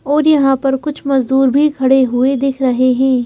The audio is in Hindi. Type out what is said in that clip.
और यहां पर कुछ मजदूर भी खड़े हुए दिख रहे है।